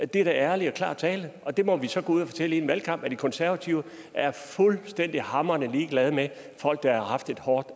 det er da ærlig og klar tale og det må vi så gå ud og fortælle i en valgkamp de konservative er fuldstændig hamrende ligeglade med folk der har haft et hårdt